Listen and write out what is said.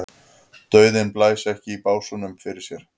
Dauðinn blæs ekki í básúnum fyrir sér.